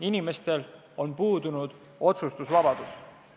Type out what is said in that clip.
Inimestel on puudunud otsustusvabadus.